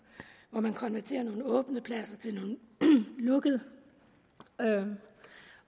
man konverterer nogle åbne pladser til lukkede